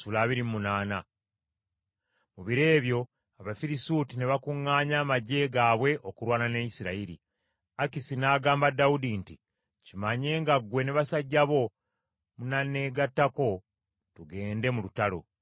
Mu biro ebyo Abafirisuuti ne bakuŋŋaanya amaggye gaabwe okulwana ne Isirayiri. Akisi n’agamba Dawudi nti, “Kimanye nga ggwe ne basajja bo munaneegattako, tugende mu lutalo.”